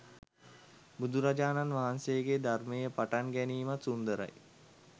බුදුරජාණන් වහන්සේගේ ධර්මයේ පටන් ගැනීමත් සුන්දරයි